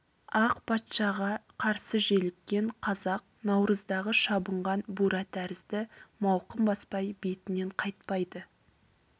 ақ патшаға қарсы желіккен қазақ наурыздағы шабынған бура тәрізді мауқын баспай бетінен қайтпайды